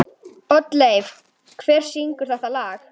Oddleif, hver syngur þetta lag?